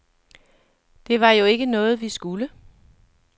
Det var jo ikke noget, vi skulle.